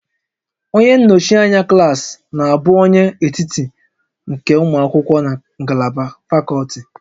Onye nnọchi anya klaasị na-abụ onye etiti nke ụmụ akwụkwọ na ngalaba fakọlti